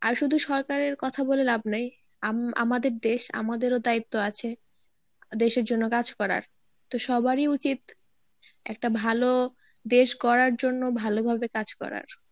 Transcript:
আর শুধু সরকারের কথা বলে লাভ নাই আম~ আমাদের দেশ আমাদেরও দায়িত্ব আছে দেশের জন্য কাজ করা তো সবারই উচিত একটা ভালো দেশ গড়ার জন্য ভালোভাবে কাজ করার.